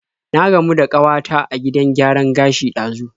Na gamu da kawata a gidan gyaran gashi ɗazu.